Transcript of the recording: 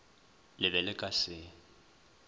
le be le ka se